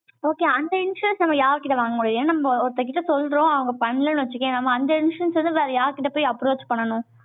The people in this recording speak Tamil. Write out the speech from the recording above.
okay, அந்த insurance நம்ம யார்கிட்ட வாங்க முடியும்? ஏன்னா, நம்ம ஒருத்தர் கிட்ட சொல்றோம். அவங்க பண்ணலைன்னு வச்சுக்கயேன், நம்ம அந்த instructions வந்து, வேற யார்கிட்ட போய், approach பண்ணணும்